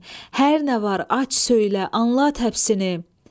Hər nə var, aç, söylə, anlat həbsini!